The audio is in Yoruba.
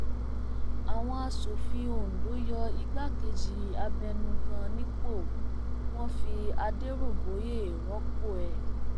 àwọn asòfin ondo yọ igbákejì abẹnugan nípò wọn fi adèróbóye rọpò rẹ